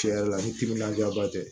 Tiɲɛ yɛrɛ la ni timinandiyaba tɛ